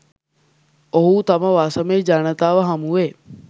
ඔහු තම වසමේ ජනතාව හමුවේ